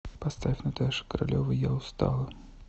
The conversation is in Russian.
поставь наташа королева я устала